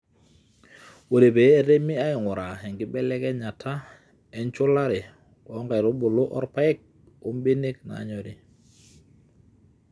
ore pee etemi ainguraa enkibelekenyata enchulare oo nkaitubulu oorpaek o benek naanyori